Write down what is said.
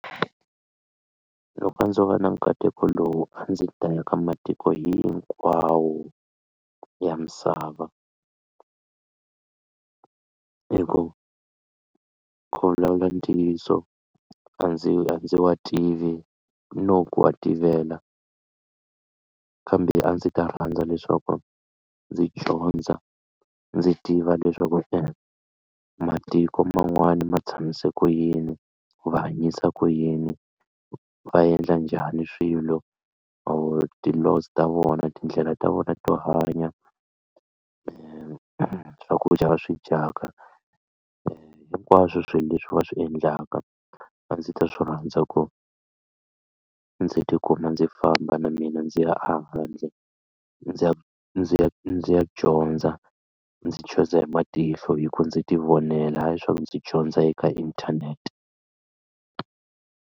Loko a ndzo va na nkateko lowu a ndzi ta ya ka matiko hinkwawo ya misava hi ku ku vulavula ntiyiso a ndzi a ndzi wa tivi no ku wa tivela kambe a ndzi ta rhandza leswaku ndzi dyondza ndzi tiva leswaku e matiko man'wana ma tshamise ku yini ku va hanyisa ku yini va endla njhani swilo or ti-laws ta vona tindlela ta vona to hanya hi swakudya va swi dyaka hinkwaswo swilo leswi va swi endlaka a ndzi ta swi rhandza kona ndzi tikuma ndzi famba na mina ndzi ya ahandle ndzi ya ndzi ya ndzi ya dyondza ndzi chuza hi matihlo hikuva ndzi ti vonela ha yi swaku ndzi dyondza hi ka inthanete.